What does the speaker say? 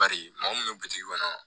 Bari mɔgɔ munnu be bitigi kɔnɔ